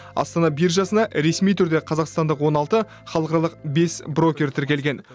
астана биржасына ресми түрде қазақстандық он алты халықаралық бес брокер тіркелген